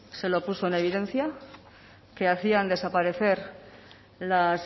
se lo puso en evidencia que hacían desaparecer las